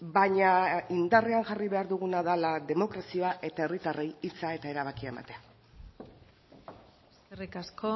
baina indarrean jarri behar duguna dela demokrazia eta herritarrei hitza eta erabakia ematea eskerrik asko